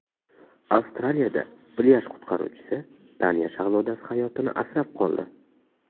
Avstraliyada plyaj qutqaruvchisi Daniya shahzodasi hayotini asrab qoldi.